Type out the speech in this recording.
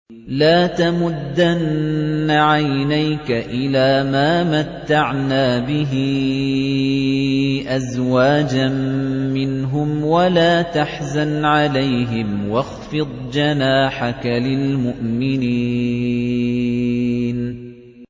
لَا تَمُدَّنَّ عَيْنَيْكَ إِلَىٰ مَا مَتَّعْنَا بِهِ أَزْوَاجًا مِّنْهُمْ وَلَا تَحْزَنْ عَلَيْهِمْ وَاخْفِضْ جَنَاحَكَ لِلْمُؤْمِنِينَ